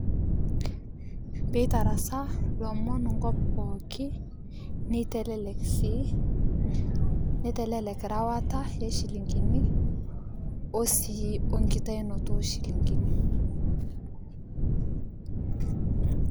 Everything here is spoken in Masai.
Pitarasaa lomon nkop pooki peitelek si nitelelek rewata ochilingini we enkirewara onchilingini.